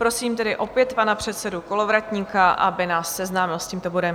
Prosím tedy opět pana předsedu Kolovratníka, aby nás seznámil s tímto bodem.